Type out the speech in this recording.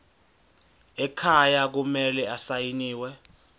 ekhaya kumele asayiniwe